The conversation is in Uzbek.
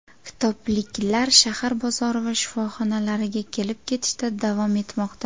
Kitobliklar shahar bozori va shifoxonalariga kelib-ketishda davom etmoqda.